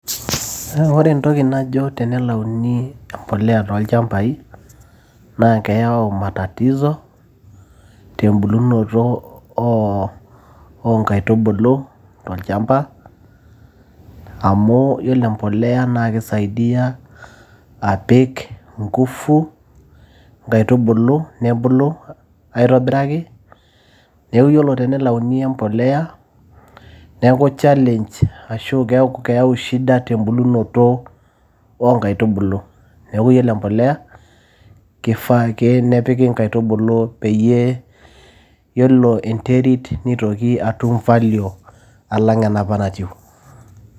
Ore entoki najo tenelauni empolea toolchambai, naa keyau matatizo tembulunoto oo inkaitubulu tolchamba, amu ore implea naa keisaidia apik inguvu inkaitubulu, nebulu aitobiraki. Neaku ore tenelauni impolea, neaku challenge ashu keyau shida tembulunoto oo inkaitubulu. Neaku iyiolo empolea keifaa ake pee piki inkaitubulu peyie iyiolo enterit neitoki atum value alang enapa natiu.